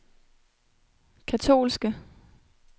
katolske